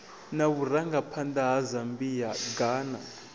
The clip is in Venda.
na vhurangaphanḓa ha zambia ghana